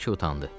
Brike utandı.